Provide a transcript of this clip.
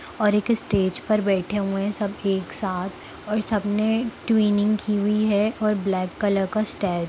और एक स्टेज पर बैठे हुए है सब एक साथ और सबने टुयुनिग की हुई है और ब्लैक कलर का---- ।